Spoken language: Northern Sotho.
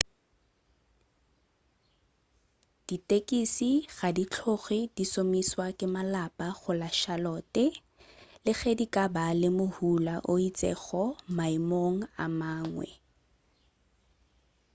ditekisi ga di tloge di šomišwa ke malapa go la charlotte le ge di ka ba le mohula o itšego maemong a mangwe